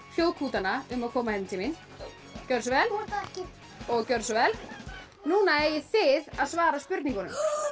hljóðkútana um að koma hérna til mín gjörðu svo vel og gjörðu svo vel núna eigið þið að svara spurningunum